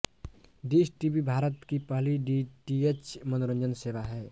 dish TV Bharat की पहली DTH मनोरंजन सेवा है